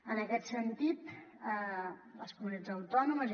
en aquest sentit les comunitats autònomes